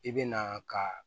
I bɛ na ka